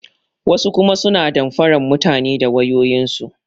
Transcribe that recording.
Wasu kuma suna damfaran mutane da wayoyin su.